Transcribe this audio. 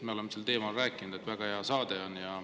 Me oleme sel teemal rääkinud, et see on väga hea saade.